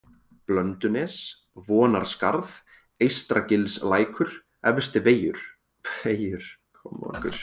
Blöndunes, Vonarskarð, Eystragilslækur, Efstivegur